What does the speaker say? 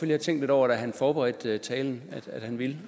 have tænkt lidt over da han forberedte talen